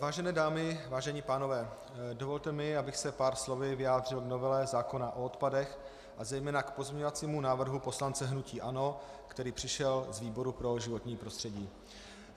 Vážené dámy, vážení pánové, dovolte mi, abych se pár slovy vyjádřil k novele zákona o odpadech a zejména k pozměňovacímu návrhu poslance hnutí ANO, který přišel z výboru pro životní prostředí.